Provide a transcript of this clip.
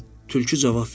Tülkü cavab verdi.